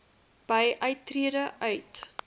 by uittrede uit